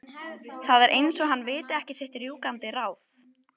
Það er eins og hann viti ekki sitt rjúkandi ráð.